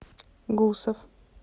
гусов